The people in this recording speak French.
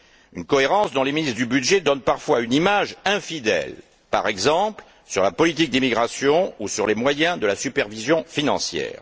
une cohérence dont les ministres du budget donnent parfois une image infidèle, par exemple, sur la politique d'immigration ou sur les moyens de la supervision financière.